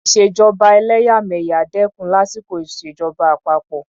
ìṣèjọba ẹlẹ́yàmẹ̀yà dẹ́kun lásìkò ìṣèjọba àpapọ.